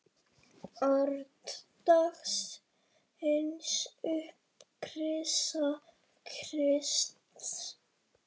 Orð dagsins Upprisa Krists